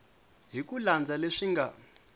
hi ku landza leswi nga